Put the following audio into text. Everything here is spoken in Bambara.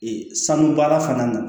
Ee sanu baara fana na